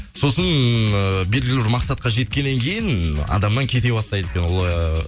сосын ііі белгілі бір мақсатқа жеткеннен кейін адамнан кете бастайды ол ыыы